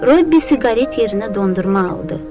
Robbi siqaret yerinə dondurma aldı.